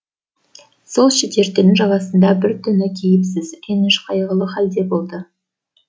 сол шідертінің жағасында бір түні кейіпсіз реніш қайғылы халде болды